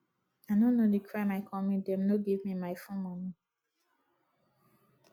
i no know the crime i comit dem no give me my full money